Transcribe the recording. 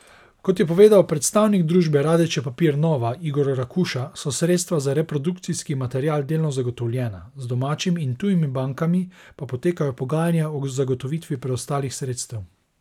Kot je povedal predstavnik družbe Radeče papir nova Igor Rakuša, so sredstva za reprodukcijski material delno zagotovljena, z domačimi in tujimi bankami pa potekajo pogajanja o zagotovitvi preostalih sredstev.